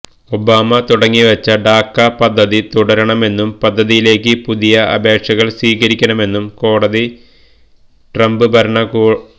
Obama തുടങ്ങിവച്ച DACA പദ്ധതിതുടരണമെന്നും പദ്ധതിയിലേക്ക് പുതിയ അപേക്ഷകൾ സ്വീകരിക്കണമെന്നും കോടതിട്രംപ് ഭരണകൂ